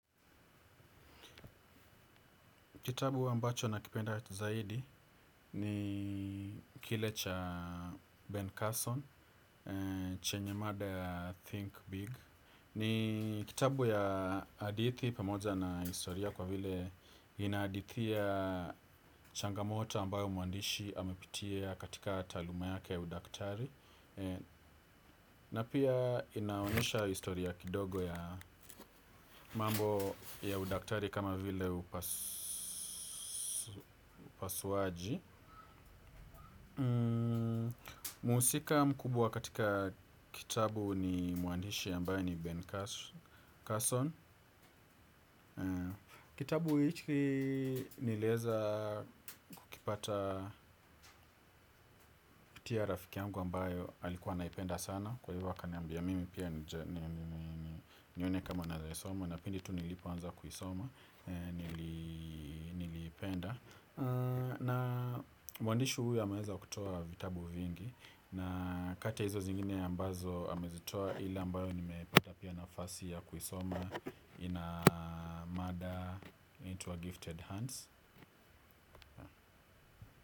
Kitabu ambacho nakipenda zaidi ni kile cha Ben Carson, chenye mada ya Think Big. Ni kitabu ya hadithi pamoja na historia kwa vile inahadithia changamoto ambayo mwandishi amepitia katika taaluma yake udaktari. Na pia inaonyesha historia kidogo ya mambo ya udaktari kama vile upasuaji. Muhusika mkubwa katika kitabu ni mwandishi ambaye ni Ben Carson. Kitabu hiki niliweza kukipata tia rafiki yangu ambayo alikuwa anaipenda sana. Kwa hivyo akaniambia mimi pia nione kama naeza isoma. Na pindi tu nilipo anza kuisoma, nilipenda. Na mwandishi huyu amaweza kutoa vitabu vingi. Na kati ya hizo zingine ambazo amezitoa ile ambayo nimepata pia nafasi ya kuisoma ina mada inaitwa gifted hands.